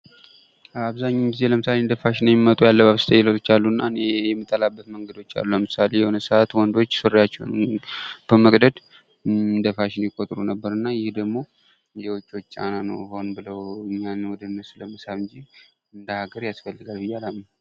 አብዛኛውን ጊዜ እንደ ፋሽን የሚመጡ ያለባበስ እስታይሎች አሉ እና እኔ የምጠላበት መንገዶች አሉ ።ለምሳሌ አሁን የሆነ ሰዓት ወንዶች ሱሪያቸውን በመቅደድ እንደ ፋሽን ይቆጥሩ ነበር እና ደግሞ የውጮች ጫና ነው ።ሆም ብለው እኛን ወደ እነሱ ለመሳብ እንጂ እንደ ሃገር ያስፈልጋል ብዬ አላምንም።